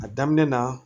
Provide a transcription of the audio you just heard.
A daminɛ na